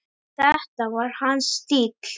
Þetta var hans stíll!